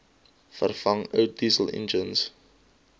vervang ou dieselenjins